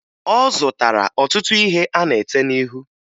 Ọ zụtara ọtụtụ ihe a na-ete n'ihu